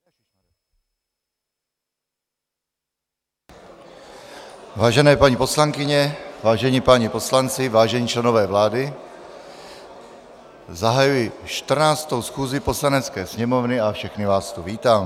Vážené paní poslankyně, vážení páni poslanci, vážení členové vlády, zahajuji 14. schůzi Poslanecké sněmovny a všechny vás tu vítám.